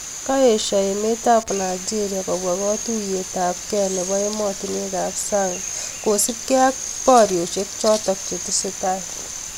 Kaeshoo emeet ap Nigeria kobwaa katuyeet ap kei nepoo emotinwek ap sang kosip gei ak poriosiek chotok chetesetai